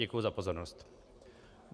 Děkuji za pozornost.